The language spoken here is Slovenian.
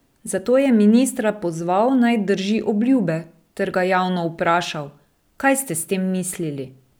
Zato je ministra pozval, naj drži obljube, ter ga javno vprašal: "Kaj ste s tem mislili?